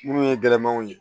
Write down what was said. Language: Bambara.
Minnu ye gɛlɛmanw ye